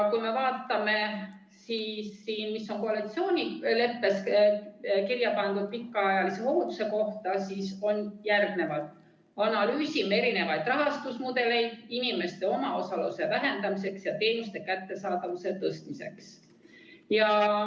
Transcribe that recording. Kui me vaatame, mis on koalitsioonileppesse kirja pandud pikaajalise hoolduse kohta, siis siin on kirjas nii: "Analüüsime alternatiivseid rahastusmudeleid inimeste omaosaluse vähendamiseks ja teenuste kättesaadavuse tõstmiseks.